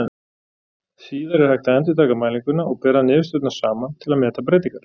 Síðar er hægt að endurtaka mælinguna og bera niðurstöðurnar saman til að meta breytingar.